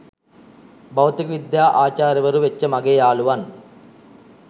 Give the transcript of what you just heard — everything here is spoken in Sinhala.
භෞතික විද්‍යා ආචාර්යවරු වෙච්ච මගේ යාළුවන්